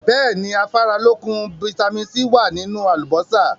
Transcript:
Bẹ́ẹ̀ni, Afáralókun "Vitamin C" wá nínú àlùbósà.